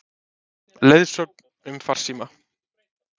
Leiðsögn um farsíma